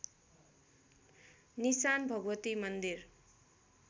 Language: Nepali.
निशान भगवती मन्दिर